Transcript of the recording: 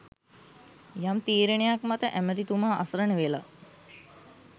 යම් තීරණයක් මත ඇමතිතුමා අසරණ වෙලා